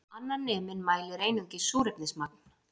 Annar neminn mælir einungis súrefnismagn